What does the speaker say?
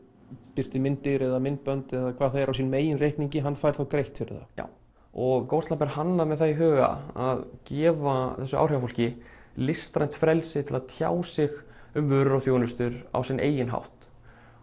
birti myndir eða myndbönd eða hvað það er á sínum eigin reikningi hann fær þá greitt fyrir það já og Ghostlamp er hannað með það í huga að gefa þessu áhrifafólki listrænt frelsi til að tjá sig um vörur og þjónustu á sinn eigin hátt